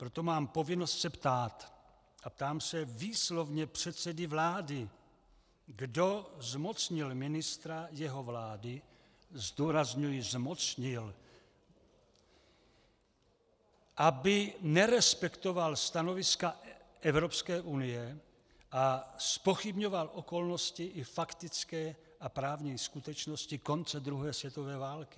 Proto mám povinnost se ptát, a ptám se výslovně předsedy vlády, kdo zmocnil ministra jeho vlády - zdůrazňuji zmocnil -, aby nerespektoval stanoviska Evropské unie a zpochybňoval okolnosti i faktické a právní skutečnosti konce druhé světové války.